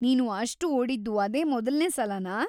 ನೀನು ಅಷ್ಟ್‌ ಓಡಿದ್ದು ಅದೇ ಮೊದಲ್ನೇ ಸಲನಾ?